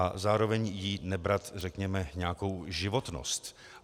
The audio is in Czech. A zároveň jí nebrat, řekněme, nějakou životnost.